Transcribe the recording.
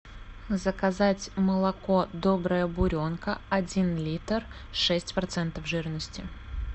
заказать молоко добрая буренка один литр шесть процентов жирности